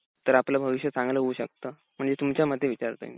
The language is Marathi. तर आपलं भविष्य चांगलं हाऊ शकत? म्हणजे तुमच्यामते विचारतोय मी .